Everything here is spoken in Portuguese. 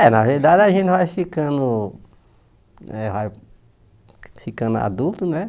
É, na verdade a gente vai ficando né vai ficando adulto, né?